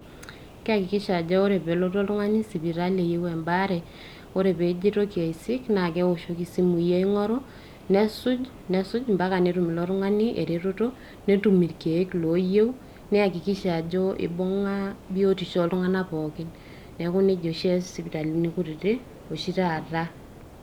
Keyakikisha ajo ore pee elotu oltung`ani sipitali eyieu embaare, ore pee ejo aitoki aisik naa keoshoki isimui aing`oru. Nesuj, nesuj, o mpaka netum ilo tung`ani e retoto. Netum ilkiek ooyieu neyakikisha ajo ibung`a biotisho oo iltung`ank pookin. Niaku neji oshi eas sipitalini kutiti oshi taata.